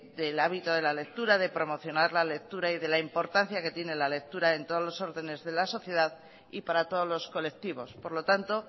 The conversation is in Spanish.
del hábito de la lectura de promocionar la lectura y de la importancia que tiene la lectura en todos los órdenes de la sociedad y para todos los colectivos por lo tanto